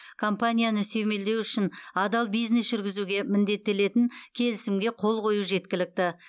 компанияны сүйемелдеу үшін адал бизнес жүргізуге міндеттелетін келісімге қол қою жеткілікті